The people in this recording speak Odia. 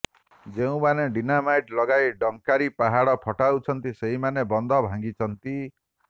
ଯେଉଁମାନେ ଡିନାମାଇଟ ଲଗାଇ ଡଙ୍କାରୀ ପାହାଡ଼ ଫଟଉଛନ୍ତି ସେହିମାନେ ବନ୍ଧ ଭାଙ୍ଗିଛନ୍ତି